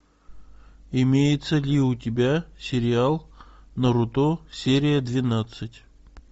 имеется ли у тебя сериал наруто серия двенадцать